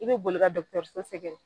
I be boli ka sɛgɛrɛ.